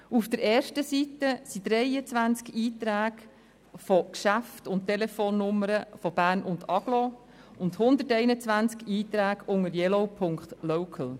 Auf der ersten Seite stehen 23 Einträge von Geschäften und Telefonnummern aus Bern und der Agglomeration sowie 121 Einträge unter yellow.local.ch.